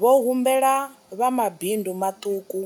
Vho humbela vha mabindu maṱuku